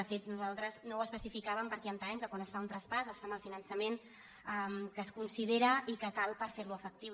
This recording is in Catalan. de fet nosaltres no ho especificàvem perquè entenem que quan es fa un traspàs es fa amb el finan·çament que es considera i que cal per fer·lo efectiu